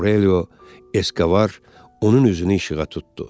Aurelio Eskovar onun üzünü işığa tutdu.